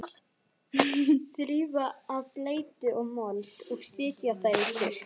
Þrífa af bleytu og mold og setja þær í þurrt.